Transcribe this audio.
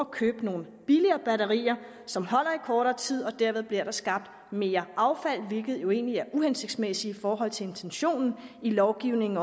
købe nogle billigere batterier som holder i kortere tid og derved bliver der skabt mere affald hvilket jo egentlig er uhensigtsmæssigt i forhold til intentionen i lovgivningen